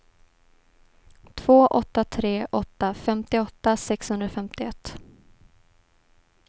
två åtta tre åtta femtioåtta sexhundrafemtioett